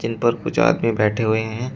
इन पर कुछ आदमी बैठे हुए हैं।